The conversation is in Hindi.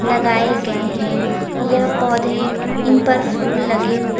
लगाय गये हैं यह पोधे इनपर फुल लगे हु--